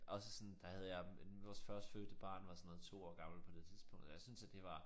Også sådan der havde jeg en vores førstefødte børn var sådan noget 2 år gammel på det tidspunkt og jeg syntes at det var